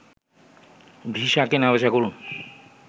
visa কেনাবেচা করুন